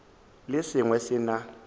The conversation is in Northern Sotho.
le se sengwe se na